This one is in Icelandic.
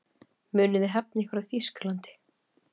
Munuð þið hefna ykkar í Þýskalandi?